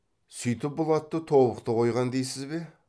сүйтіп бұл атты тобықты қойған дейсіз бе